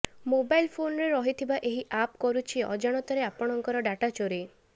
mobile ଫୋନରେ ରହିଥିବା ଏହି ଆପ୍ କରୁଛି ଅଜାଣତରେ ଆପଣଙ୍କ ଡ଼ାଟାଚୋରି